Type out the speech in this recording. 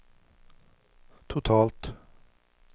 totalt